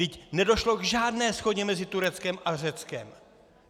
Vždyť nedošlo k žádné shodě mezi Tureckem a Řeckem.